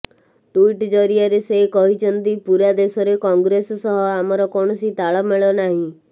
tweet ଜରିଆରେ ସେ କହିଛନ୍ତି ପୁରା ଦେଶରେ କଂଗ୍ରେସ ସହ ଆମର କୌଣସି ତାଳମେଳ ନାହିଁ